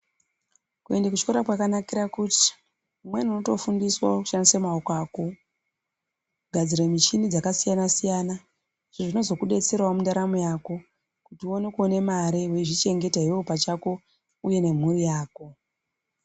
Kuende kuchikora kwakanakira kuti umweni unotofundiswa kushandisa maoko ako kugadzire muchini dzakasiyana siyana izvi zvinozokudetserawo mundaramo yako kuti ukone kuone mare weizvichengeta iwewe pachako uye nemhuri yako.